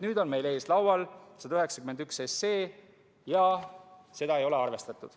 Nüüd on meie ees laual seaduseelnõu 191 ja seda ei ole arvestatud.